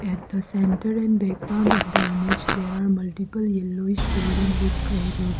at the center and background of the image there are multiple yellowish building with grey roofs.